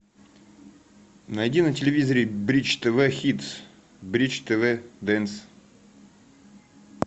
найди на телевизоре бридж тв хитс бридж тв дэнс